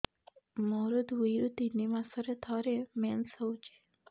ମୋର ଦୁଇରୁ ତିନି ମାସରେ ଥରେ ମେନ୍ସ ହଉଚି